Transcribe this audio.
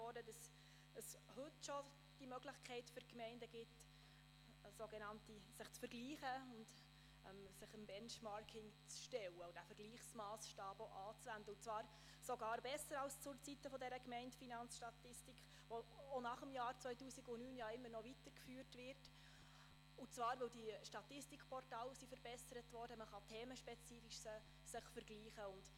Gemeinden stehen heute schon Möglichkeiten zur Verfügung, um sich untereinander zu vergleichen, sich dem Benchmarking zu stellen und diesen Vergleichsmassstab anzuwenden, und zwar sogar besser als zu Zeiten der Gemeindefinanzstatistik – sie wird auch nach 2009 weitergeführt –, da die Statistikportale verbessert worden sind und die Gemeinden sich jetzt auch themenspezifisch vergleichen können.